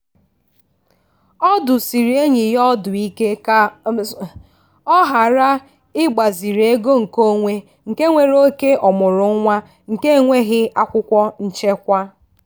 ọ dụsiri enyi ya ọdụ ike ka ọ ghara ịgbaziri ego nkeonwe nke nwere oke ọmụrụ nwa nke enweghi akwụkwọ nchekwa.